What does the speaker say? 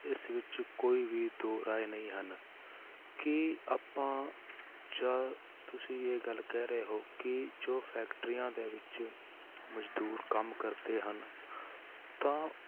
ਇਸ ਵਿੱਚ ਕੋਈ ਵੀ ਦੋ ਰਾਏ ਨਹੀਂ ਹਨ, ਕੀ ਆਪਾਂ ਜਾਂ ਤੁਸੀਂ ਇਹ ਗੱਲ ਕਹਿ ਰਹੇ ਹੋ ਕਿ ਜੋ ਫੈਕਟਰੀਆਂ ਦੇ ਵਿੱਚ ਮਜ਼ਦੂਰ ਕੰਮ ਕਰਦੇ ਹਨ ਤਾਂ